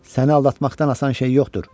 Səni aldatmaqdan asan şey yoxdur.